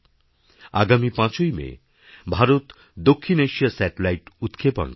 আগামী ৫ই মে ভারত দক্ষিণ এশিয়াস্যাটেলাইট উৎক্ষেপণ করবে